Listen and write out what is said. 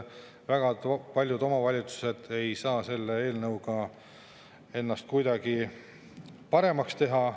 Väga paljud omavalitsused ei saa selles eelnõus kuidagi paremaks teha.